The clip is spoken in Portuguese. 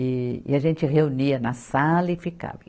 E, e a gente reunia na sala e ficava.